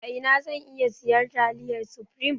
A ina zan iya siyan taliyan supreme?